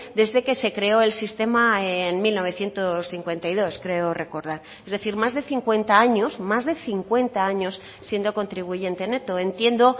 desde que se creó el sistema en mil novecientos cincuenta y dos creo recordar es decir más de cincuenta años más de cincuenta años siendo contribuyente neto entiendo